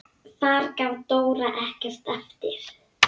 Þar gaf Dóra ekkert eftir.